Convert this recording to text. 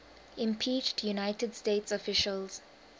impeached united states officials